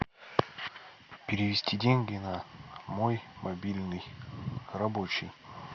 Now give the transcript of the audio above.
перевести деньги на мой мобильный рабочий